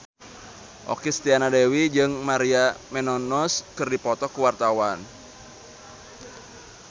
Okky Setiana Dewi jeung Maria Menounos keur dipoto ku wartawan